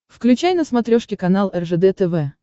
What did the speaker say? включай на смотрешке канал ржд тв